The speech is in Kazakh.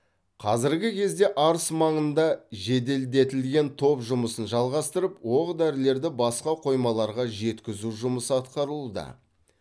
қазіргі кезде арыс маңында жеделдетілген топ жұмысын жалғастырып оқ дәрілерді басқа қоймаларға жеткізу жұмысы атқарылуда